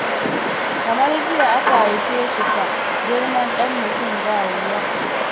Kamar jiya aka haife shi fa, Girman dan mutum ba wuya!